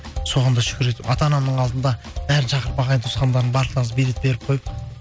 соған да шүкір етіп ата анамның алдында бәрін шақырып ағайын туысқандардың барлықтарыңыз билет беріп қойып